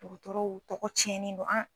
Dɔgɔtɔrɔw tɔgɔ tiɲɛni don ann.